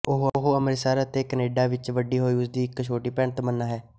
ਉਹ ਅੰਮ੍ਰਿਤਸਰ ਅਤੇ ਕਨੇਡਾ ਵਿੱਚ ਵੱਡੀ ਹੋਈ ਉਸਦੀ ਇੱਕ ਛੋਟੀ ਭੈਣ ਤਮੰਨਾ ਹੈ